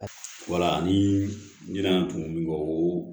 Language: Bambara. Wala ni n y'a tumuni kɔ